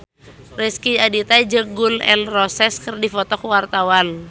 Rezky Aditya jeung Gun N Roses keur dipoto ku wartawan